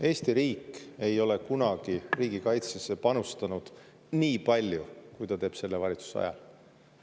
Eesti riik ei ole kunagi riigikaitsesse panustanud nii palju, kui ta teeb selle valitsuse ajal.